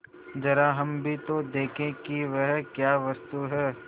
जरा हम भी तो देखें कि वह क्या वस्तु है